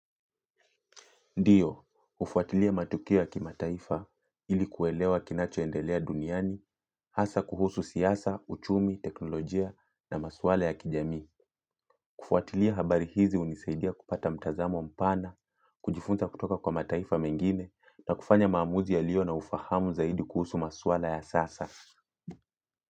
Ndio, hufuatilia matukio ya kimataifa ili kuelewa kinachoendelea duniani, hasa kuhusu siasa, uchumi, teknolojia na maswala ya kijamii. Kufuatilia habari hizi hunisaidia kupata mtazamo mpana, kujifunza kutoka kwa mataifa mengine na kufanya maamuzi yaliyo na ufahamu zaidi kuhusu maswala ya sasa.